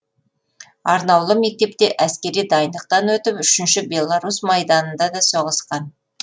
арнаулы мектепте әскери дайындықтан өтіп үшінші белорусь майданында да соғысқан